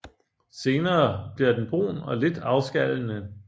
Senere bliver den brun og lidt afskallende